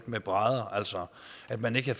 med brædder altså at man ikke